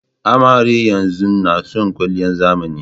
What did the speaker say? Amaren yanzun nason kwaliyan zamani.